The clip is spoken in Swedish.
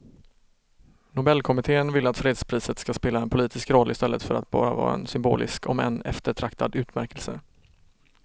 Nobelkommittén vill att fredspriset ska spela en politisk roll i stället för att bara vara en symbolisk om än eftertraktad utmärkelse.